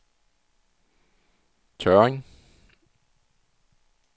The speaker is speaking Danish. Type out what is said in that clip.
Tørring